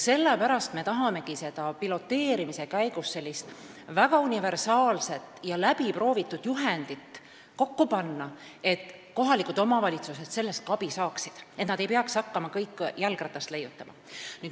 Sellepärast me tahamegi piloteerimise käigus sellist väga universaalset ja läbi proovitud juhendit kokku panna, et kohalikud omavalitsused sellest ka abi saaksid ega peaks hakkama kõik jalgratast leiutama.